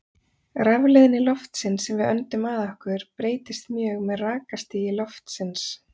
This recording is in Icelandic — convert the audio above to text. Rafleiðni loftsins sem við öndum að okkur breytist mjög með rakastigi loftsins.